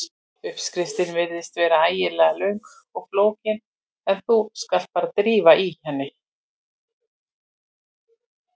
Uppskriftin virðist vera ægilega löng og flókin en þú skalt bara drífa í henni.